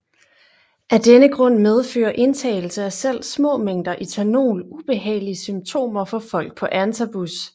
Af denne grund medfører indtagelse af selv små mængder ethanol ubehagelige symptomer for folk på antabus